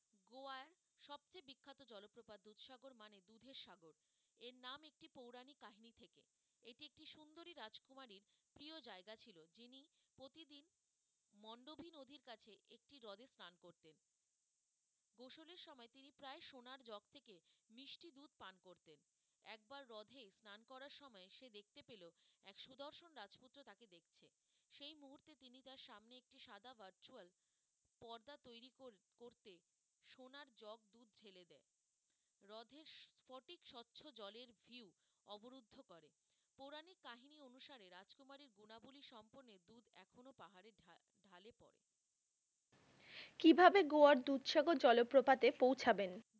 কি ভাবে গোয়ার দুধসাগর জলপ্রপাতে পৌঁছাবেন?